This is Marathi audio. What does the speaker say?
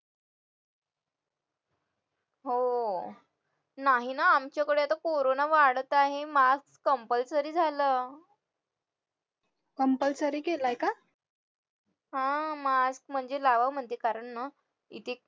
हो नाही ना आमच्याकडे तर corona वाढत आहे mask compulsory झालं हा mask म्हणजे लावावं म्हणजे कारण ना किती